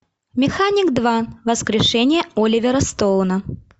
механик два воскрешение оливера стоуна